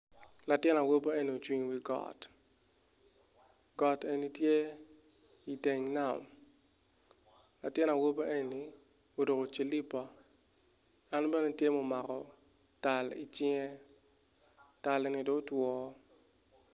Latin awobi enni ocung i wi got got eni tye iteng nam latin awobi enni oruku cilipa en bene tye mumako tal i cinge tal enni do otwoo